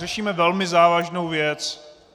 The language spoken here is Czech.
Řešíme velmi závažnou věc.